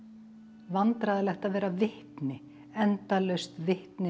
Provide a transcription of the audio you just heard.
vandræðalegt að vera vitni endalaust vitni að